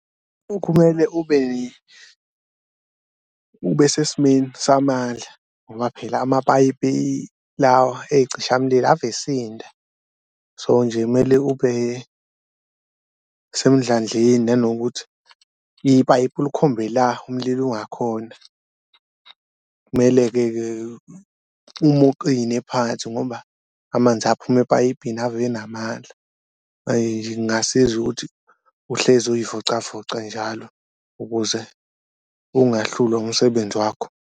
Kumele ube ube sesimeni samandla ngoba phela amapayipi lawa eyicishamlilo ave esinda so nje mele ube semndlandleni nanokuthi ipayipi ulikhombe la umlilo ungakhona, kumele-ke-ke ume uqine phansi ngoba amanzi aphuma epayipini ave enamandla. Kungasiza ukuthi uhlezi uyivocavoca njalo ukuze ungahlulwa umsebenzi wakho.